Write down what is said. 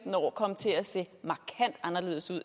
anerkendelse af